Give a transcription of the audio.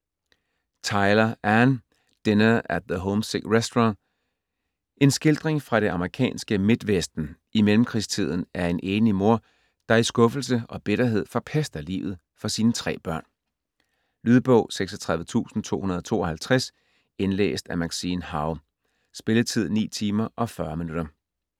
Tyler, Anne: Dinner at the homesick restaurant En skildring fra det amerikanske midtvesten i mellemkrigstiden af en enlig mor, der i skuffelse og bitterhed forpester livet for sine tre børn. Lydbog 36252 Indlæst af Maxine Howe. Spilletid: 9 timer, 40 minutter.